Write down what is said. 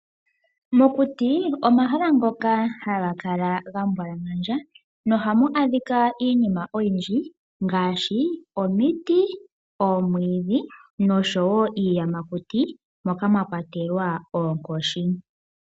Omakuti omahala ngoka haga kala ga mbwalangandja , nohamu adhika iinima oyindji ngaashi omiti, omwiidhi noshowo iiyamakuti moka mwa kwatelwa oonkoshi.